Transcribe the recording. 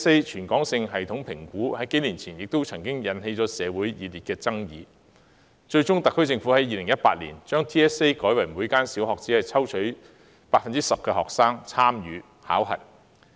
全港性系統評估數年前也曾引起社會熱烈爭議，特區政府最終在2018年把 TSA 改為每間小學只抽取 10% 學生參與考評。